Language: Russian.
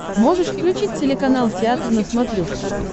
можешь включить телеканал театр на смотрешке